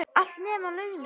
Allt, nema launin.